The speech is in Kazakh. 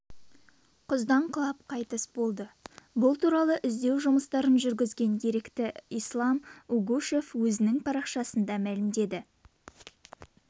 құздан құлап қайтыс болды бұл туралы іздеу жұмыстарын жүргізген ерікті ислам угушев өзінің парақшасында мәлімдеді